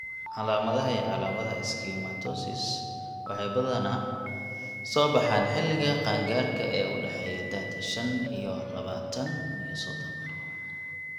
Calaamadaha iyo calaamadaha schwannomatosis waxay badanaa soo baxaan xilliga qaangaarka ee u dhexeeya da'da shan iyo labatan iyo sodon.